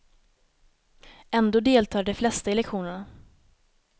Ändå deltar de flesta i lektionerna.